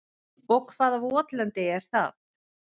Og hvaða votlendi er það?